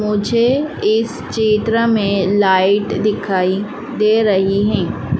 मुझे इस चित्र में लाइट दिखाई दे रही है।